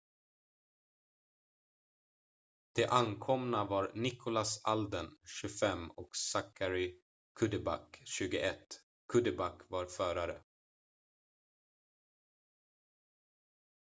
de omkomna var nicholas alden 25 och zachary cuddeback 21 cuddeback var förare